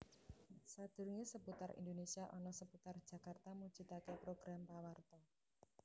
Sadurunge Seputar Indonésia ana Seputar Jakarta mujudake program pawarta